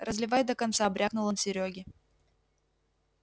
разливай до конца брякнул он серёге